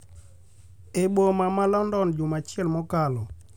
e boma ma London juma achiel mokalo,